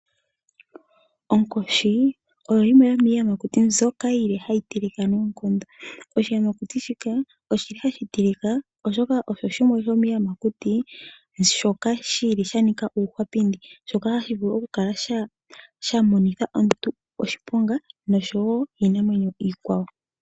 Onkoshi oyo yimwe yomiiyamakuti mbyoka yili hayi tilika noonkondo. Oshiyamakuti shika oshili hashi tilika oshoka osho shimwe shomiiyamakuti shoka shili sha nika uuhwapindi, shoka hashi vulu okukala shamonitha omuntu iihuna oshowoo iinamwenyo.